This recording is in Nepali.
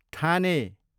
ठाने